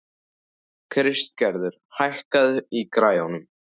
Kristgerður, hækkaðu í græjunum.